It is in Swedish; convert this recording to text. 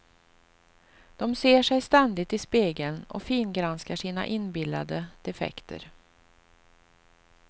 De ser sig ständigt i spegeln och fingranskar sina inbillade defekter.